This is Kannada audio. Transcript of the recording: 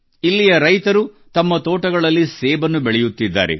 ಇಲ್ಲಿಯ ರೈತರು ತಮ್ಮ ತೋಟಗಳಲ್ಲಿ ಸೇಬನ್ನು ಬೆಳೆಯುತ್ತಿದ್ದಾರೆ